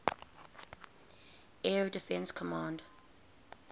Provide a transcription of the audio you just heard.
air defense command